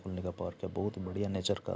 पुण्य का पार किया बहुत बढ़िया नेचर का --